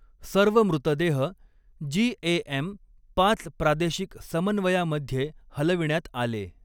सर्व मृतदेह जी.ए.एम. पाच प्रादेशिक समन्वयामध्ये हलविण्यात आले.